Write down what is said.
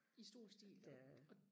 i stor stil